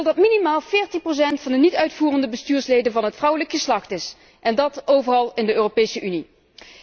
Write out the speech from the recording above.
Zij wil dat minimaal 40 procent van de niet uitvoerende bestuursleden van het vrouwelijk geslacht is, en dat overal in de Europese Unie.